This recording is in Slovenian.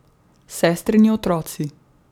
Sestrini otroci.